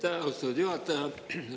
Aitäh, austatud juhataja!